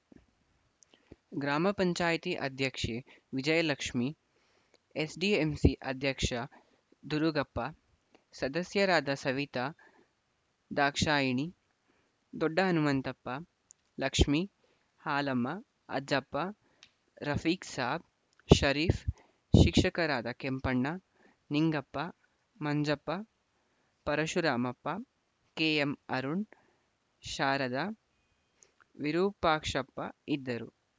ಗ್ರಾಮ ಪಂಚಾಯತಿ ಅಧ್ಯಕ್ಷೆ ವಿಜಯಲಕ್ಷ್ಮೀ ಎಸ್‌ಡಿಎಂಸಿ ಅಧ್ಯಕ್ಷ ದುರುಗಪ್ಪ ಸದಸ್ಯರಾದ ಸವಿತಾ ದ್ರಾಕ್ಷಾಯಿಣಿ ದೊಡ್ಡ ಹನುಮಂತಪ್ಪ ಲಕ್ಮೀ ಹಾಲಮ್ಮ ಅಜ್ಜಪ್ಪ ರಫಿಕ್‌ ಸಾಬ ಷರೀಫ್‌ ಶಿಕ್ಷಕರಾದ ಕೆಂಪಣ್ಣ ನಿಂಗಪ್ಪ ಮಂಜಪ್ಪ ಪರಶುರಾಮಪ್ಪ ಕೆಎಂಅರುಣ್ ಶಾರದ ವಿರೂಪಾಕ್ಷಪ್ಪ ಇದ್ದರು